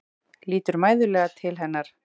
Lítur mæðulega til hennar.